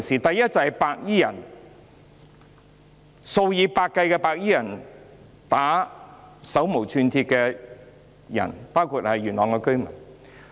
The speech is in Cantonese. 第一，數以百計白衣人毆打手無寸鐵的市民，包括元朗居民。